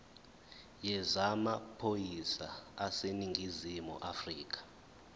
yezamaphoyisa aseningizimu afrika